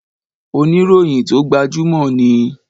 Oníròyìn tó gbajúmò ni.